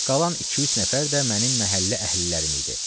Qalan iki-üç nəfər də mənim məhəllə əhlilərim idi.